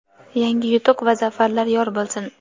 yangi yutuq va zafarlar yor bo‘lsin!.